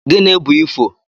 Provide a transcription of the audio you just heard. Gini bu ifo?